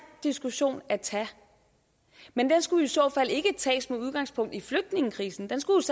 diskussion at tage men den skulle i så fald ikke tages med udgangspunkt i flygtningekrisen den skulle